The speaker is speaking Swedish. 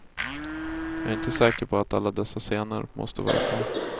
Jag är inte säker på att alla dessa scener måste vara kvar.